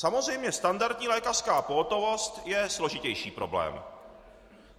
Samozřejmě, standardní lékařská pohotovost je složitější problém.